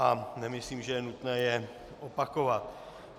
A nemyslím, že je nutné je opakovat.